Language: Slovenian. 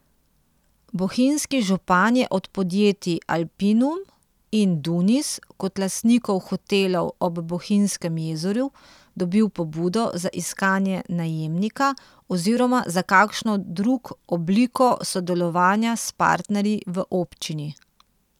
Bohinjski župan je od podjetij Alpinum in Dunis kot lastnikov hotelov ob Bohinjskem jezeru dobil pobudo za iskanje najemnika oziroma za kakšno drug obliko sodelovanja s partnerji v občini.